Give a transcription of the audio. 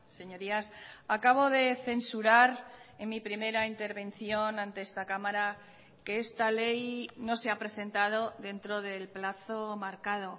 señorías acabo de censurar en mi primera intervención ante esta cámara que esta ley no se ha presentado dentro del plazo marcado